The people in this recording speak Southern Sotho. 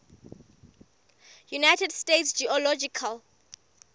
united states geological